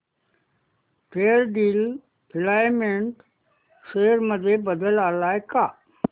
Fairdeal filament share price मध्ये बदल आलाय का